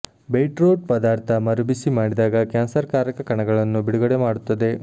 beetroot ಪದಾರ್ಥ ಮರುಬಿಸಿ ಮಾಡಿದಾಗ ಕ್ಯಾನ್ಸರ್ ಕಾರಕ ಕಣಗಳನ್ನು ಬಿಡುಗಡೆ ಮಾಡುತ್ತದೆ